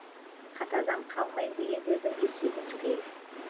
қатардан қалмайын дегендердің есебі түгел